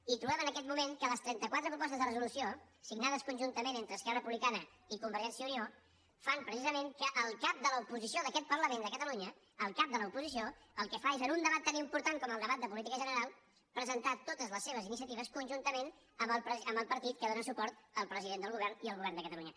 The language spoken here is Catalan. i trobem en aquest moment que les trenta·quatre pro·postes de resolució signades conjuntament entre es·querra republicana i convergència i unió fan preci·sament que el cap de l’oposició d’aquest parlament de catalunya el cap de l’oposició el que fa és en un debat tan important com el debat de política general presentar totes les seves iniciatives conjuntament amb el partit que dóna suport al president del govern i al govern de catalunya